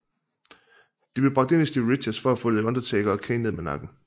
De blev bragt ind af Stevie Richards for at få The Undertaker og Kane ned med nakken